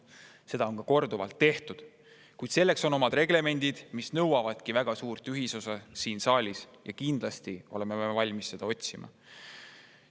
on korduvalt, kuid selleks on omad reglemendid, mis nõuavadki väga suurt ühisosa siin saalis, ja kindlasti me oleme valmis seda otsima.